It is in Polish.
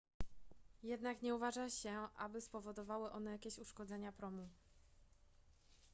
jednak nie uważa się aby spowodowały one jakieś uszkodzenia promu